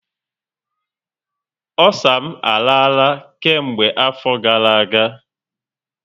Osa m arala kemgbe afọ gara aga